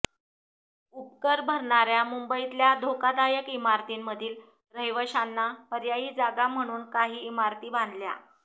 उपकर भरणाऱ्या मुंबईतल्या धोकादायक इमारतींमधील रहिवाशांना पर्यायी जागा म्हणून काही इमारती बांधल्या